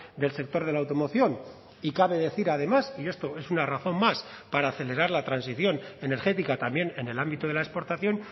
del sector de la automoción y cabe decir además y esto es una razón más para acelerar la transición energética también en el ámbito de la exportación